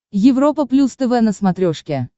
европа плюс тв на смотрешке